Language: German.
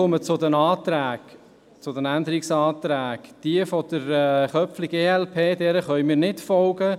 Zu den Änderungsanträgen: Dem Antrag glp, Köpfli, können wir nicht folgen.